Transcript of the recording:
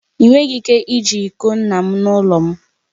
Ị nweghị ike iji iko nna m n'ụlọ m